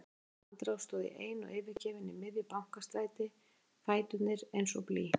Í næstu andrá stóð ég ein og yfirgefin í miðju Bankastræti, fæturnir eins og blý.